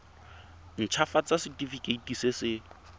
nt hafatsa setefikeiti se se